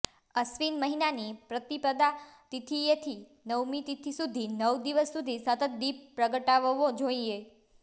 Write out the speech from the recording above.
અશ્વિન મહિનાની પ્રતિપદા તીથિએથી નવમી તીથિ સુધી નવ દિવસ સુધી સતત દીપ પ્રગટાવવો જોઇએ